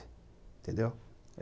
Entendeu?